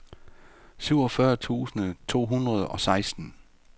syvogfyrre tusind to hundrede og seksten